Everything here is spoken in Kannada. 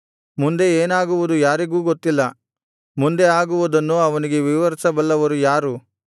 ಮುಂದೆ ಏನಾಗುವುದು ಯಾರಿಗೂ ಗೊತ್ತಿಲ್ಲ ಮುಂದೆ ಆಗುವುದನ್ನು ಅವನಿಗೆ ವಿವರಿಸಬಲ್ಲವರು ಯಾರು